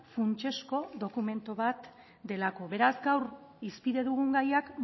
funtsezko dokumentu bat delako beraz gaur hizpide dugun gaiak